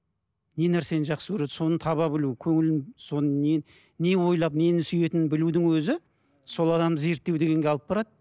не нәрсені жақсы көреді соны таба білу көңілін соның не не ойлап нені сүйетінін білудің өзі сол адамды зерттеу дегенге алып барады